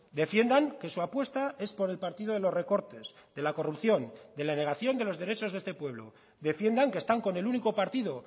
defiendan que su apuesta es por el partido de los recortes de la corrupción de la negación de los derechos de este pueblo defiendan que están con el único partido